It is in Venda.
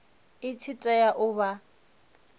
i tshi tea u vha